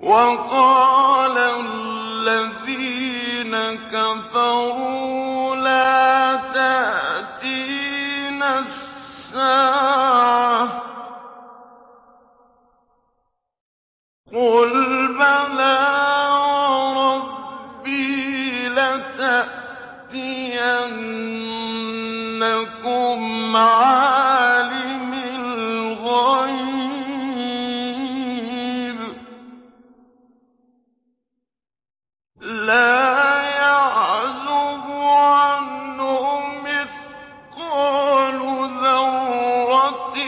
وَقَالَ الَّذِينَ كَفَرُوا لَا تَأْتِينَا السَّاعَةُ ۖ قُلْ بَلَىٰ وَرَبِّي لَتَأْتِيَنَّكُمْ عَالِمِ الْغَيْبِ ۖ لَا يَعْزُبُ عَنْهُ مِثْقَالُ ذَرَّةٍ